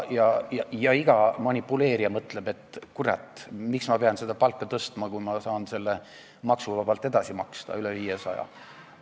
Ja iga manipuleerija mõtleb, et, kurat, miks ma pean palka tõstma, kui ma saan maksuvabalt edasi maksta üle 500 euro.